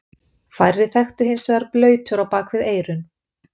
Færri þekktu hins vegar blautur á bak við eyrun.